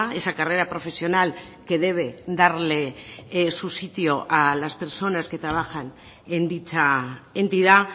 esa carrera profesional que debe darle su sitio a las personas que trabajan en dicha entidad